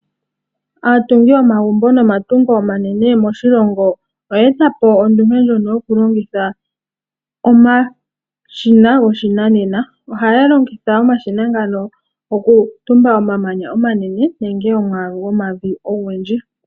Aatungi yomagumbo nomatungo omanene moshilongo oya eta po ondunge ndjono yoku longitha omashina goshinanena. Ohaya longitha omashina ngano oku tumba omamanya omanene nenge omwaalu gwomavi ogundji.